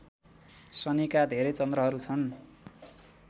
शनिका धेरै चन्द्रहरू छन्